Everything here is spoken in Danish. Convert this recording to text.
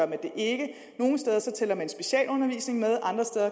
det ikke nogle steder tæller man specialundervisning med